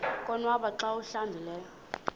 konwaba xa awuhlambileyo